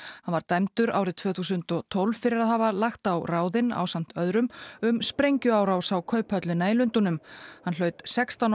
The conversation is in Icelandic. hann var dæmdur árið tvö þúsund og tólf fyrir að hafa lagt á ráðin ásamt öðrum um sprengjuárás á Kauphöllina í Lundúnum hann hlaut sextán